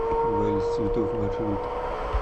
вальс цветов маршрут